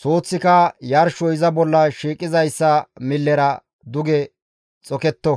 suuththika yarshoy iza bolla shiiqizayssa millera duge xoketto.